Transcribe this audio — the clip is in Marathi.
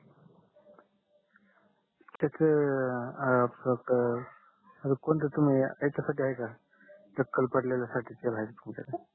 त्याच आह कोणत तुम्ही याच्या साठी आहे का टक्कल पडलेल्या साठी तेल आहे का तुमच्या